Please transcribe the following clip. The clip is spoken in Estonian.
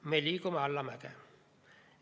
Me liigume allamäge.